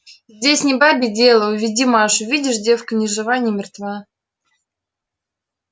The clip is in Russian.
здесь не бабье дело уведи машу видишь девка ни жива ни мертва